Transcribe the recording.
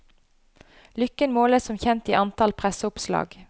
Lykken måles som kjent i antall presseoppslag.